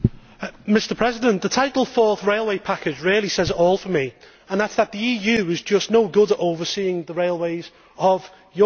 Mr President, the title Fourth Railway Package' really says it all for me, and that is that the EU is just no good at overseeing the railways of Europe.